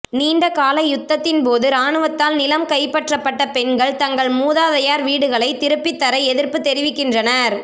நீண்டகால யுத்தத்தின் போது இராணுவத்தால் நிலம் கைப்பற்றப்பட்ட பெண்கள் தங்கள் மூதாதையர் வீடுகளை திருப்பித் தர எதிர்ப்பு தெரிவிக்கின்றனர்